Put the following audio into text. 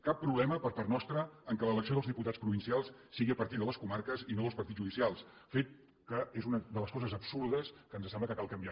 cap problema per part nostra que l’elecció dels diputats provincials sigui a partir de les comarques i no dels partits judicials fet que és una de les coses absurdes que ens sembla que cal canviar